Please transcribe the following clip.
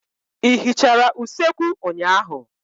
Ị hichara usekwu ụnyaahụ?